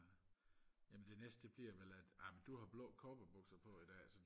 jamen det næste det bliver vel at amen du har blå cowboybukser på i dag